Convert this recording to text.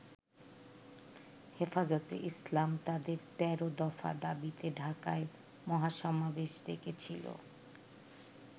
হেফাজতে ইসলাম তাদের ১৩ দফা দাবিতে ঢাকায় মহাসমাবেশ ডেকেছিল।